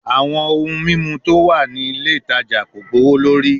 Awọn ohun mimu ti o wa ni ile itaja ko gbowolori